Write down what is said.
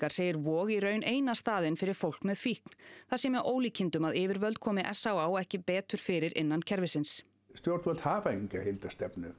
segir Vog í raun eina staðinn fyrir fólk með fíkn það sé með ólíkindum að yfirvöld komi s á á ekki betur fyrir innan kerfisins stjórnvöld hafa enga heildarstefnu